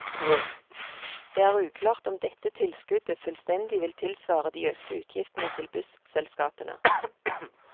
Det er uklart om dette tilskuddet fullstendig vil tilsvare de økte utgiftene til busselskapene.